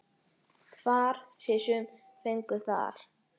Far sér sumir fengu þar.